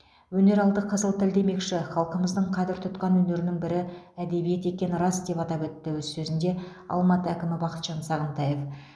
өнер алды қызыл тіл демекші халқымыздың қадір тұтқан өнерінің бірі әдебиет екені рас деп атап өтті өз сөзінде алматы әкімі бақытжан сағынтаев